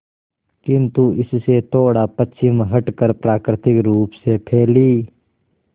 किंतु इससे थोड़ा पश्चिम हटकर प्राकृतिक रूप से फैली